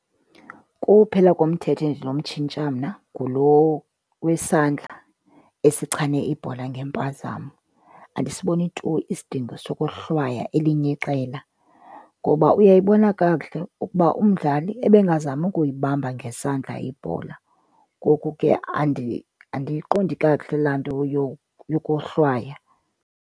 Kuphela komthetho endinomtshintsha mna ngulo wesandla esichane ibhola ngempazamo. Andisiboni tu isidingo sokohlwaya elinye iqela, ngoba uyayibona kakuhle ukuba umdlali ebengazami ukuyibamba ngesandla ibhola. Ngoku ke andiyiqondi kakuhle laa nto yokohlwaya.